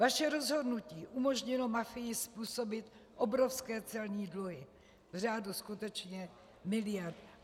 Vaše rozhodnutí umožnilo mafii způsobit obrovské celní dluhy v řádu skutečně miliard.